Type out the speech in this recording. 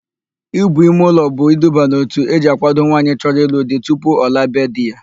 Íbù imeụlọ bụ iduba n'òtù eji àkwádo nwaanyị chọrọ ịlụ di tupu ọ laa be di ya.